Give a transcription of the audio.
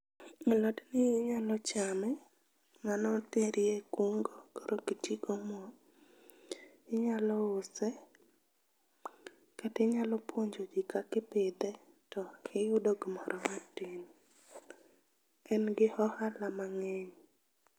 Alot ni inyalo chame, mano terie kungo koro ok itii gi omuom, inyalo use kata inyalo puonjo jii kaka ipidhe tiyudo gimoro matin. En gi ohala mangeny